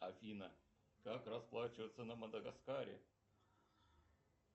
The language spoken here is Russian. афина как расплачиваться на мадагаскаре